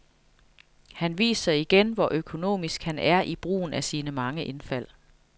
Han viser igen, hvor økonomisk han er i brugen af sine mange indfald.